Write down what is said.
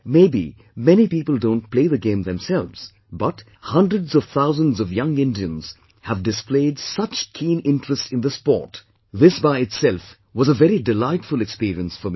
Maybe many people don't play the game themselves, but hundreds of thousands of young Indians have displayed such keen interest in the sport, this by itself was a very delightful experience for me